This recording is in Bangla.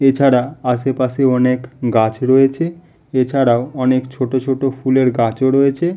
এছাড়া আশেপাশে অনেক গাছ রয়েছে। এছাড়াও অনেক ছোট ছোট ফুলের গাছ ও রয়েছে।